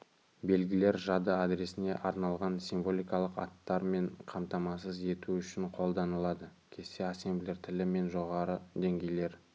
белгілер жады адресіне арналған символикалық аттармен қамтамасыз ету үшін қолданылады кесте ассемблер тілі мен жоғары деңгейлер